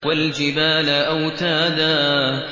وَالْجِبَالَ أَوْتَادًا